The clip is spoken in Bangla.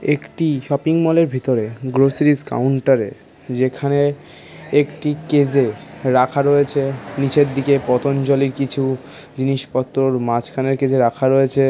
একটি শপিং মলের ভিতরে গ্রোসারিস কাউন্টারে যেখানে একটি কেজে রাখা রয়েছে নিচের দিকে পতঞ্জলির কিছু জিনিসপত্রর মাঝখানের কেজে রাখা রয়েছে।